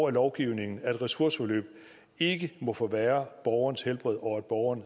af lovgivningen at et ressourceforløb ikke må forværre borgerens helbred og at borgeren